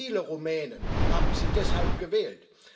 Viele Rumänen haben Sie deshalb gewählt.